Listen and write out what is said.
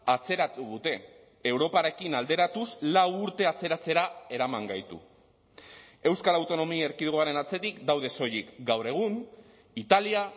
atzeratu dute europarekin alderatuz lau urte atzeratzera eraman gaitu euskal autonomia erkidegoaren atzetik daude soilik gaur egun italia